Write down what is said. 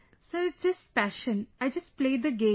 Sir, its just passion, I just play the game